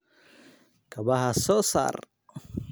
Kabaha soo saar.